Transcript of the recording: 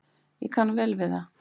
Ég kann vel við það.